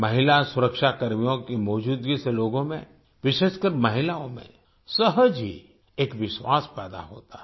महिला सुरक्षाकर्मियों की मौजूदगी से लोगों में विशेषकर महिलाओं में सहज ही एक विश्वास पैदा होता है